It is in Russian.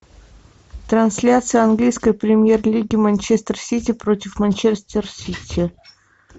трансляция английской премьер лиги манчестер сити против манчестер сити